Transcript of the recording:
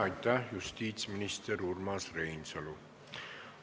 Aitäh, justiitsminister Urmas Reinsalu!